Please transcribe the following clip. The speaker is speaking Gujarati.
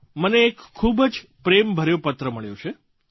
મને એક ખૂબ જ પ્રેમભર્યો પત્ર મળ્યો છે